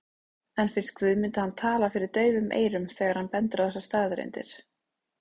En finnst Guðmundi hann tala fyrir daufum eyrum þegar hann bendir á þessar staðreyndir?